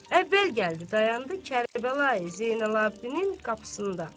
əvvəl gəldi dayandı Kərbəlayi Zeynalabdinin qapısında.